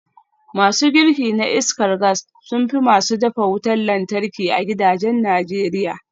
Masu girki na iskar gas sun fi masu dafa wutar lantarki a gidajen Najeriya